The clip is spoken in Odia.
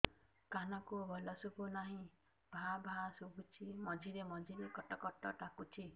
କାନକୁ ଭଲ ଶୁଭୁ ନାହିଁ ଭାଆ ଭାଆ ଶୁଭୁଚି ମଝିରେ ମଝିରେ କଟ କଟ ଡାକୁଚି